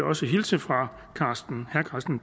også hilse fra herre carsten